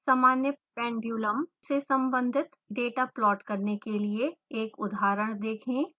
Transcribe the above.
सामान्य pendulum से संबंधित डेटा प्लॉट करने के लिए एक उदाहरण देखें